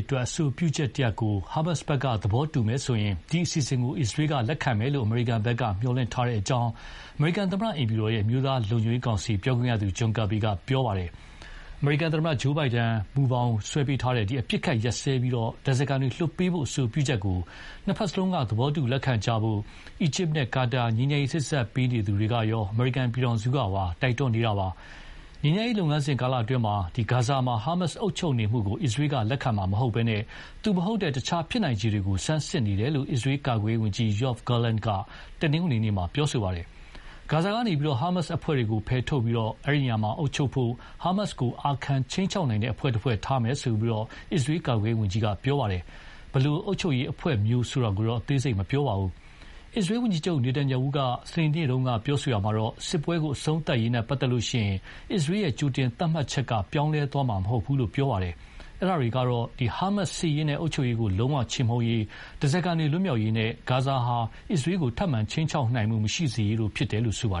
အတွက် အဆိုပြုချက်တရပ်ကို ဟာမတ်က သဘောတူလိုက်မယ်ဆိုရင် ဒီအစီအစဉ်ကို အစ္စရေးကလက်ခံမယ်လို့ အမေရိကန်ဘက်က မျှော်လင့်ထားကြောင်း သမ္မတအိမ်ဖြူတော် အမျိုးသားလုံခြုံရေးကောင်စီပြောခွင့်ရသူ က ပြောပါတယ်။ အမေရိကန်သမ္မတ Joe Biden မူကြမ်းဆွဲပေးထားတဲ့ အပစ်အခတ်ရပ်စဲပြီး ဓါးစားခံတွေလွှတ်ပေးဖို့ အဆိုပြုချက်ကို နှစ်ဖက်စလုံးက သဘောတူလက်ခံကြဖို့ အီဂျစ်နဲ့ကာတာ ငြိမ်းချမ်းရေးစေ့စပ်ပေးသူတွေကရော အမေရိကန်ပြည်ထောင်စုကပါ တိုက်တွန်းနေပါတယ်။ ငြိမ်းချမ်းရေးလုပ်ငန်းစဉ်ကာလအတွင်း ဂါဇာမှာ ဟာမတ်စ်က အုပ်ချုပ်နေတာကို အစ္စရေးက လက်ခံမှာမဟုတ်ဘဲ သူမဟုတ်တဲ့ အခြားဖြစ်နိုင်ခြေတွေကို ဆန်းစစ်နေတယ်လို့ အစ္စရေးကာကွယ်ရေးဝန်ကြီး Yoav Gallant က တနင်္ဂနွေနေ့မှာ ပြောပါတယ်။ ဂါဇာကနေ ဟာမတ်စ်အဖွဲ့တွေကို ဖယ်ထုတ်ပြီး အဲဒီနေရာမှာ အုပ်ချုပ်ဖို့ ဟာမတ်စ်ကို အာခံခြိမ်းခြောက်နိုင်တဲ့ တဖွဲ့ဖွဲ့ ထားမယ်လို့ အစ္စရေးကာကွယ်ရေးဝန်ကြီးက ပြောပါတယ်။ ဘယ်လို အုပ်ချုပ်ရေးအဖွဲ့မျိုးဆိုတာကိုတော့ အသေးစိတ်မပြောပါဘူး။ အစ္စရေးဝန်ကြီးချုပ် နေတန်ရာဟုက စနေနေ့တုန်းက ပြောရာမှာတော့ စစ်ပွဲအဆုံးသတ်ရေးနဲ့ပတ်သက်ရင် အစ္စရေးကြိုတင်သတ်မှတ်ချက်က ပြောင်းလဲသွားမှာမဟုတ်ဘူးလို့ ပြောခဲ့ပါတယ်။ အဲဒါတွေကတော့ ဟာမတ်စ် စစ်ရေးနဲ့အုပ်ချုပ်ရေးကို ချေမှုန်းရေး၊ ဓါးစာခံတွေလွတ်မြောက်ရေးနဲ့ ဂါဇာဟာ အစ္စရေးကိုခြိမ်းခြောက်နိုင်မှုမရှိစေရေးတို့ဖြစ်တယ်လို့ ဆိုပါ